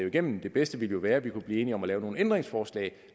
igennem det bedste ville være at vi kunne blive enige om at lave nogle ændringsforslag